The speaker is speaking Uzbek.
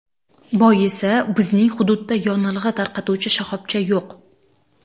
Boisi, bizning hududda yonilg‘i tarqatuvchi shoxobcha yo‘q.